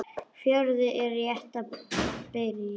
Fjörið er rétt að byrja!